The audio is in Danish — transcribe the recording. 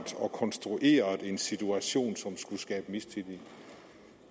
konstrueret en situation som skulle skabe mistillid